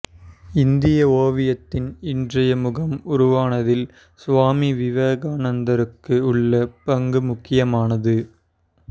இந்திய ஓவியத்தின் இன்றைய முகம் உருவானதில் சுவாமி விவேகானந்தருக்கு உள்ள பங்கு முக்கியமானது